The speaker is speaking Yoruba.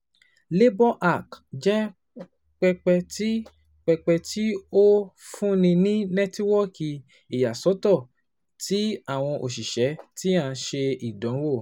LaborHack jẹ pẹpẹ ti pẹpẹ ti o funni ni nẹtiwọọki iyasọtọ ti awọn oṣiṣẹ ti a ṣe idanwo